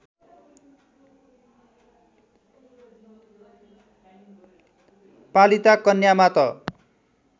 पालिता कन्यामा त